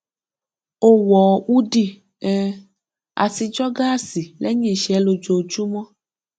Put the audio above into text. ó wọ húdì um àti jọgásì lẹyìn iṣẹ lójoojúmọ